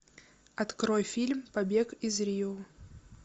открой фильм побег из рио